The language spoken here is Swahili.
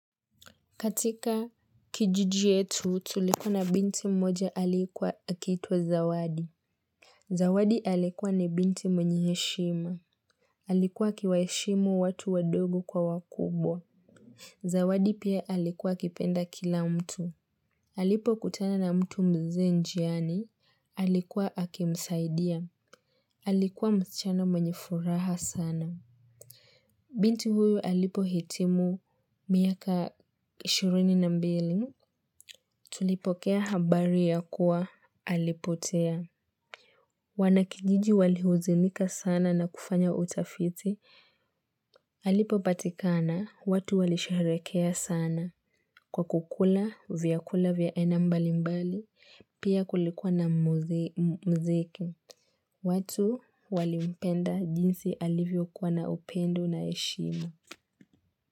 Katika kijiji yetu tulikuwa na binti mmoja alikuwa akiitwa zawadi. Zawadi alikuwa ni binti mwenye heshima. Alikuwa akiwaheshimu watu wadogo kwa wakubwa. Zawadi pia alikuwa kipenda kila mtu. Alipo kutana na mtu mzee njiani. Alikuwa akimsaidia. Alikuwa msichana mwenye furaha sana. Binti huyu alipo hitimu miaka ishirini na mbili. Tulipokea habari ya kuwa alipotea. Wanakijiji walihuzunika sana na kufanya utafiti. Alipopatikana watu walisherehekea sana kwa kukula vyakula vya aina mbali mbali pia kulikuwa na muziki. Watu walimpenda jinsi alivyo kuwa na upendo na heshima.